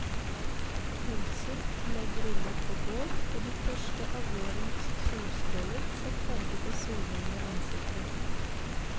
Pølser ble grillet på bål, og de første av vårens solstråler satte farve på solhungrige ansikter.